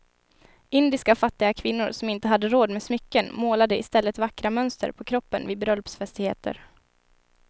Indiska fattiga kvinnor som inte hade råd med smycken målade i stället vackra mönster på kroppen vid bröllopsfestligheter.